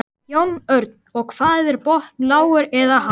Jón Örn: Og hvað er þinn botn lágur eða hár?